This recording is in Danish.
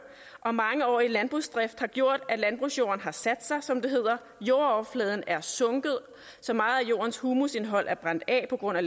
og mangeårig landbrugsdrift har gjort at landbrugsjorden har sat sig som det hedder jordoverfladen er sunket så meget at jordens humusindhold er brændt af på grund af